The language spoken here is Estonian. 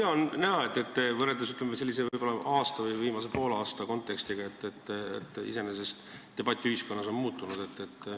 Hea on näha, et võrreldes, ütleme, aasta või viimase poole aasta kontekstiga on iseenesest debatt ühiskonnas muutunud.